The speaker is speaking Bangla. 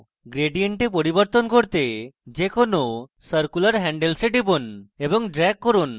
gradient এ পরিবর্তন করতে যে কোনো circular handles এ টিপুন এবং drag করুন